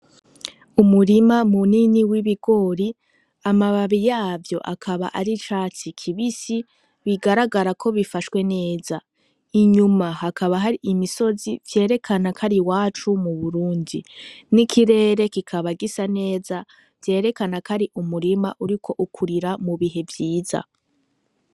Umurima mu nini w'ibigori amababi yavyo akaba ari catsi kibisi bigaragara ko bifashwe neza inyuma hakaba hari imisozi vyerekana kari wacu mu Burundi n'ikirere kikaba gisa neza vyerekana kari umurima uri ko ukurira mubihe vyiza.